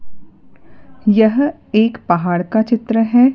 यह एक पहाड़ का चित्र है।